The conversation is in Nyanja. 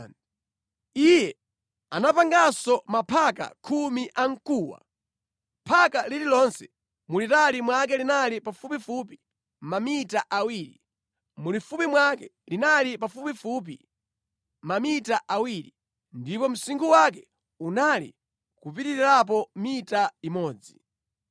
Iye anapanganso maphaka khumi a mkuwa. Phaka lililonse mulitali mwake linali pafupifupi mamita awiri, mulifupi mwake linali pafupifupi mamita awiri, ndipo msinkhu wake unali kupitirirapo mita imodzi.